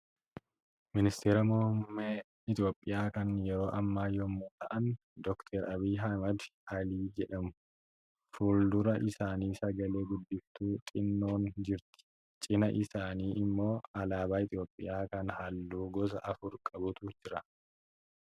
Ministeera muummee Itoophiyaa kan yeroo ammaa yommuu ta'an, doktir Abiyui Ahimad Alii jedhamu. Fuldura isaanii sagalee guddiftuu xinnoon jirti. Cinaa isaanii immoo alaabaa Itoophiyaa kan halluu gosa afur qabutu jira